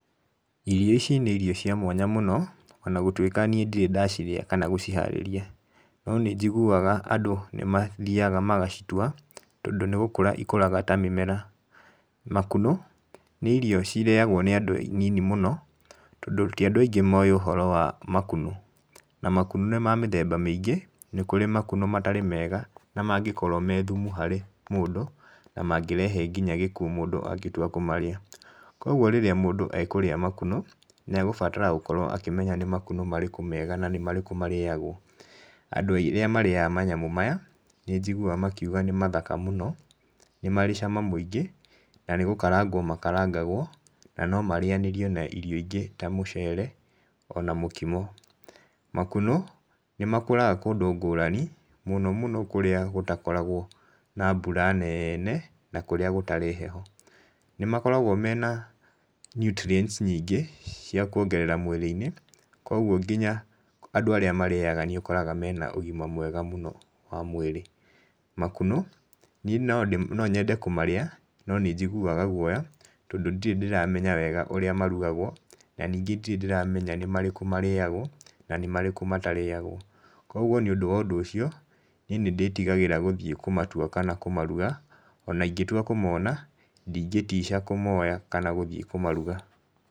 Irio ici nĩ irio cia mwanya mũno, ona gũtuĩka niĩ ndirĩ ndacirĩa kana gũciharĩria, no nĩ njiguaga andũ nĩ mathiaga magacitua tondũ nĩ gũkũra ikũraga ta mĩmera. Makunũ, nĩ irio cirĩagwo nĩ andũ anini mũno, tondũ ti andũ aingĩ moĩ ũhoro wa makunũ, na makunũ nĩ mamĩthemba mĩingĩ, nĩ kũrĩ makunũ matarĩ mega na mangĩkorwo me thumu harĩ mũndũ, na mangĩrehe nginya gĩkuũ mũndũ angĩtua kũmarĩa. Koguo rĩrĩa mũndũ akũrĩa makunũ, nĩ agũbatara kũmenya nĩ makunũ marĩkũ mega na nĩ marĩkũ marĩagwo. Andũ arĩa marĩaga manyamũ maya, nĩ njiguaga makiuga nĩ mathaka mũno, nĩ marĩ cama mũingĩ, nanĩ gũkaragwo makarangagwo, na no marĩanĩrio na irio ingĩ ta mũcere, ona mũkimo. Makunũ, nĩ makũraga kũndũ ngũrani mũno mũno kũrĩa gũtakoragwo na mbura nene na kũrĩa gũtarĩ heho. Nĩ makoragwo mena nutrients nyingĩ, cia kuongerera mwĩrĩ-inĩ, koguo nginya andũ arĩa marĩaga nĩ ũkoraga mena ũgima mwega mũno wa mwĩrĩ. Makunũ niĩ no nyende kũmarĩa no nĩ njiguaga guoya, tondũ ndirĩ ndĩramenya wega ũrĩa marugagwo, na ningĩ ndirĩ ndĩramenya nĩ marĩkũ marĩagwo na nĩ marĩkũ matarĩagwo. Koguo nĩ ũndũ wa ũndũ ũcio niĩ nĩ ndĩtigagĩra gũthiĩ kũmatua kana kũmaruga, ona ingĩtua kũmona, ndingĩtica kũmoya kana gũthiĩ kũmaruga.